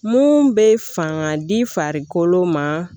Mun bɛ fanga di farikolo ma